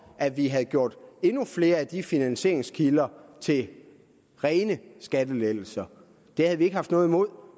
at vi havde gjort endnu flere af de finansieringskilder til rene skattelettelser det havde vi ikke haft noget imod